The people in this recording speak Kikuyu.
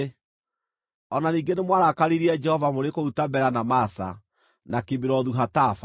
O na ningĩ nĩmwarakaririe Jehova mũrĩ kũu Tabera, na Masa, na Kibirothu-Hataava.